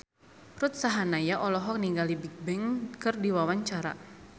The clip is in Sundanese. Ruth Sahanaya olohok ningali Bigbang keur diwawancara